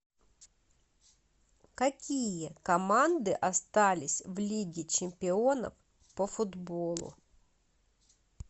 какие команды остались в лиге чемпионов по футболу